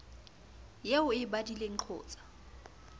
eo o e badileng qotsa